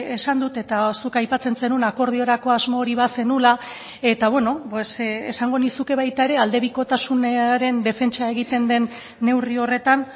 esan dut eta zuk aipatzen zenuen akordiorako asmo hori bazenuela eta esango nizuke baita ere aldebikotasunaren defentsa egiten den neurri horretan